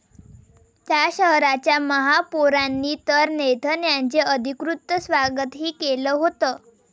त्या शहराच्या महापौरांनी तर नेथन यांचे अधिकृत स्वागतही केलं होतं.